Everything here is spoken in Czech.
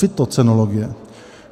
Fytocenologie.